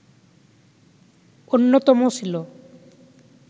অন্যতম ছিল